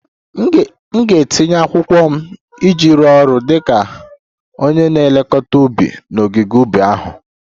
M ga-etinye akwụkwọ iji rụọ ọrụ dị ka onye na-elekọta ubi n'ogige ubi ahụ